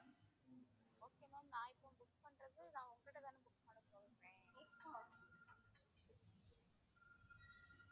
okay ma'am நான் இப்போ book பண்றது நான் உங்க கிட்டதானே book பண்ண சொல்றேன்